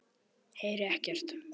Heyri ekkert.